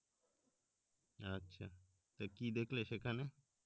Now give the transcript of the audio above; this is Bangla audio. তো কি দেখলে সেখানে